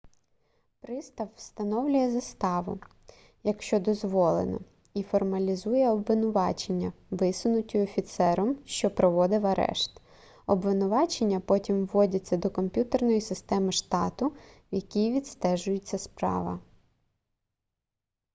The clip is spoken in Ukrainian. пристав встановлює заставу якщо дозволено і формалізує обвинувачення висунуті офіцером що проводив арешт обвинувачення потім вводяться до комп'ютерної системи штату в якій відстежується справа